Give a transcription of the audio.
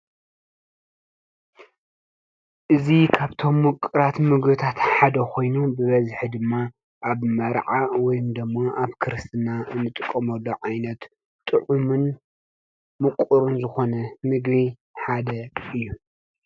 እዙ ኻብቶም ምቕራት ምግብታተ ሓደ ኾይኑ ብበዝኀ ድማ ኣብ መርዓ ወይም ደሞ ኣብ ክርስትና እንጥቆመሎ ዓይነት ጥዑምን ምቝርን ዝኾነ ምግቢ ሓደ እዩ።